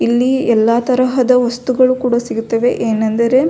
ಇಲ್ಲಿ ಎಲ್ಲ ತರಹದ ವಸ್ತುಗಳು ಕೂಡ ಸಿಗುತ್ತದೆ ಎನಂದರೆ.